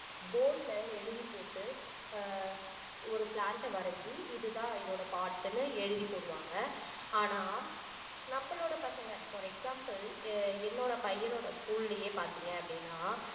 board ல எழுதிப்போட்டு ஆஹ் ஒரு plant அ வரைஞ்சி இதுதான் இதோட parts னு எழுதி போடுவாங்க ஆனா நம்மளோட பசங்க for an example எ~ என்னோட பையனோட school லையே பாத்தீங்க அப்படின்னா